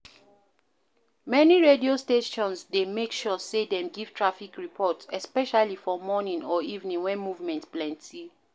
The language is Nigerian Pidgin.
Many radio stations dey make sure sey dem give traffic report especially for morning or evening when movement plenty